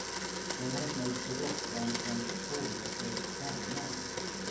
De har snudd på rockbranschens fånigaste bandnamn.